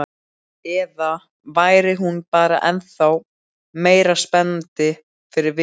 Eða væri hún bara ennþá meira spennandi fyrir vikið?